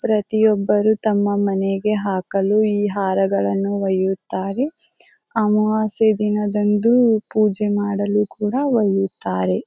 ಪ್ರತಿಯೊಬ್ಬರೂ ತಮ್ಮ ಮನೆಗೆ ಹಾಕಲು ಈ ಹಾಲುಗಳನ್ನು ಒಯ್ಯುತ್ತಾರೆ. ಅಮಾವಾಸ್ಯೆ ದಿನದಂದು ಪೂಜೆ ಮಾಡಲು ಕೂಡ ಒಯ್ಯುತ್ತಾರೆ.